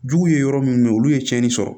Juguw ye yɔrɔ minnu bɛ yen olu ye tiɲɛni sɔrɔ